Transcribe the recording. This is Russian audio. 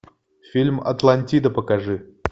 фильм атлантида покажи